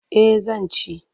Eh zan ci.